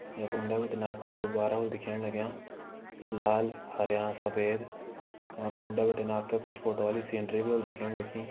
यख उंडें‌ बिटिन आप ते गुब्बारा वल दिखेण लग्यां लाल हरयां सफेद या का उंडे बिटिन आप ते कुछ फोटो वाली सीनरी भी ह्वोली दिखेण लगीं।